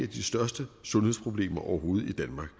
de største sundhedsproblemer overhovedet i danmark